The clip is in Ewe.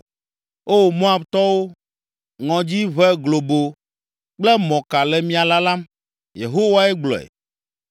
O, Moabtɔwo, ŋɔdzi, ʋe globo kple mɔka le mia lalam.” Yehowae gblɔe.